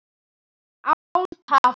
Án tafar!